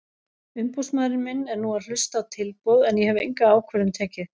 Umboðsmaður minn er nú að hlusta á tilboð en ég hef enga ákvörðun tekið.